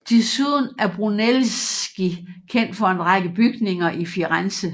Desuden er Brunelleschi kendt for en række bygninger i Firenze